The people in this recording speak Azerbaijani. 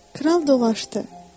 Kral dolaşdı.